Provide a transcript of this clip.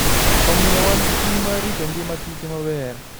Omiyo, wan gi ting ' mar rito ngima kich maber.